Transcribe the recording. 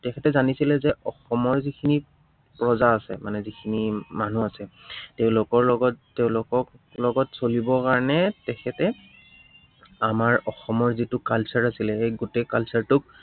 তেখেতে জানিছিলে যে অসমৰ যিখিনি প্ৰজা আছে, মানে যিখিনি মানুহ আছে, তেওঁলোকৰ লগত, তেওঁলোকক লগত চলিব কাৰনে তেখেতে আমাৰ অসমৰ যিটো culture আছিলে গোটেই culture টোক